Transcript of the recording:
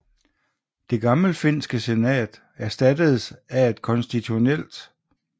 Det gammelfinske senat erstattedes af et konstitutionelt